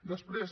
després